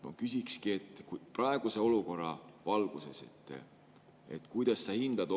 Ma küsikski, et kuidas sa praeguse olukorra valguses seda hindad.